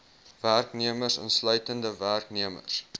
werknemers insluitende werknemers